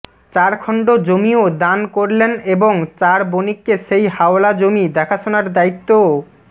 চারখণ্ড জমিও দান করলেন এবং চার বণিককে সেই হাওলা জমি দেখাশোনার দায়িত্বও